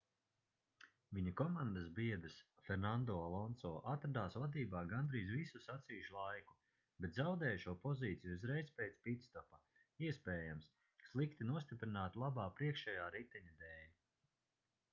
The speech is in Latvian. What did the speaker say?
viņa komandas biedrs fernando alonso atradās vadībā gandrīz visu sacīkšu laiku bet zaudēja šo pozīciju uzreiz pēc pitstopa iespējams slikti nostiprināta labā priekšējā riteņa dēļ